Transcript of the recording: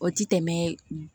O ti tɛmɛ